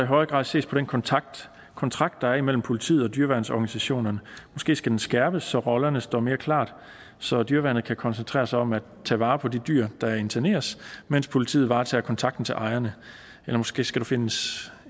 højere grad ses på den kontrakt kontrakt der er imellem politiet og dyreværnsorganisationerne måske skal den skærpes så rollerne står mere klart så dyreværnet kan koncentrere sig om at tage vare på de dyr der interneres mens politiet varetager kontakten til ejerne eller måske skal der findes